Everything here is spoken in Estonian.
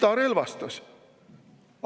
Kes ta relvastas?